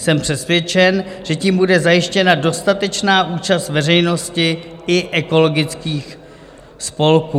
Jsem přesvědčen, že tím bude zajištěna dostatečná účast veřejnosti i ekologických spolků.